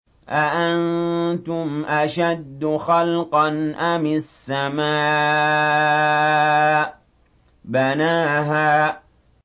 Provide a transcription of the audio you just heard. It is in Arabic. أَأَنتُمْ أَشَدُّ خَلْقًا أَمِ السَّمَاءُ ۚ بَنَاهَا